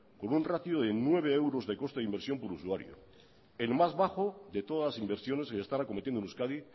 con un ratio de nueve euros de coste e inversión por usuario pero el más bajo de todas las inversiones que se están acometiendo en euskadi